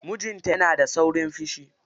Mijinta yana da saurin fishi.